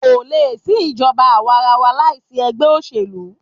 Kò lè sí ìjọba àwàrawa láìsí egbẹ́ òṣèlú.